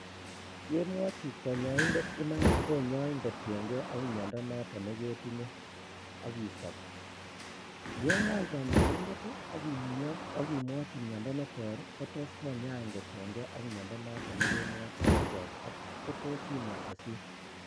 Yemwochi konyoindet imanit konyoin kotieng'e ak miondo noton neketinye ak isob, yeng'al konyoindet ak imwochi miondo meter kotos konyain kotieng'e ak miondo noton nekikemwochi neter ak kotos imian kosir.